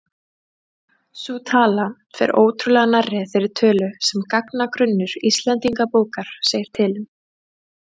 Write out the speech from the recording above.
Sú tala fer ótrúlega nærri þeirri tölu sem gagnagrunnur Íslendingabókar segir til um.